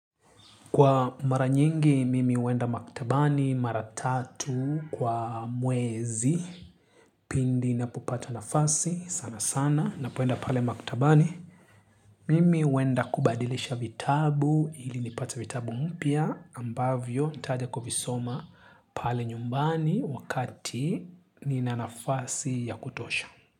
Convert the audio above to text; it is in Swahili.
Kwa mara nyingi, mimi wenda maktabani, mara tatu, kwa mwezi, pindi napupata nafasi, sana sana, napoenda pale maktabani. Mimi huwenda kubadilisha vitabu, hili nipata vitabu mpya, ambavyo, tajako kuvisoma pale nyumbani wakati nina nafasi ya kutosha.